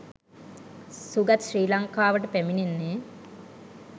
සුගත් ශ්‍රී ලංකාවට පැමිණෙන්නේ